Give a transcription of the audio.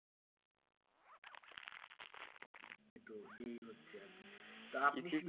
তো এই হচ্ছে আর কি